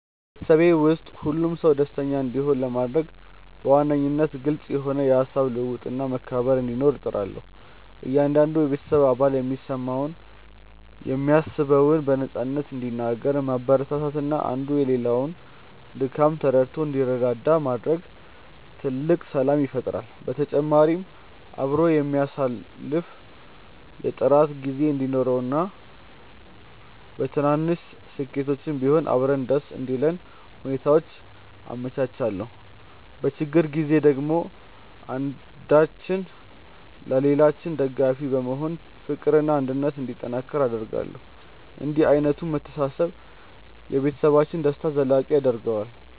በቤተሰቤ ውስጥ ሁሉም ሰው ደስተኛ እንዲሆን ለማድረግ በዋነኝነት ግልጽ የሆነ የሃሳብ ልውውጥና መከባበር እንዲኖር እጥራለሁ። እያንዳንዱ የቤተሰብ አባል የሚሰማውንና የሚያስበውን በነፃነት እንዲናገር ማበረታታትና አንዱ የሌላውን ድካም ተረድቶ እንዲረዳዳ ማድረግ ትልቅ ሰላም ይፈጥራል። በተጨማሪም አብሮ የሚያሳልፍ የጥራት ጊዜ እንዲኖረንና በትንንሽ ስኬቶችም ቢሆን አብረን ደስ እንዲለን ሁኔታዎችን አመቻቻለሁ። በችግር ጊዜ ደግሞ አንዳችን ለሌላችን ደጋፊ በመሆን ፍቅርና አንድነት እንዲጠናከር አደርጋለሁ። እንዲህ ዓይነቱ መተሳሰብ የቤተሰብን ደስታ ዘላቂ ያደርገዋል።